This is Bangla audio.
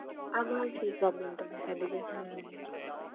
আমি